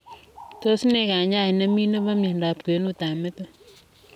Tos nee kanyaet nemii nepoo miondoop kwenuut ap metit?